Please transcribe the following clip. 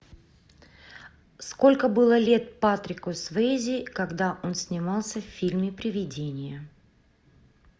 сколько было лет патрику суэйзи когда он снимался в фильме привидение